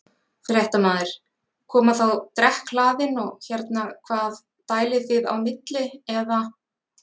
Fréttamaður: Koma þá drekkhlaðin og hérna hvað dælið þið á milli eða?